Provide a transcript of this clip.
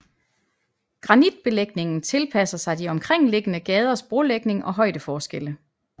Granitbelægningen tilpasser sig de omkringliggende gaders brolægning og højdeforskelle